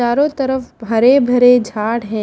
चारों तरफ हरे भरे झाड़ हैं।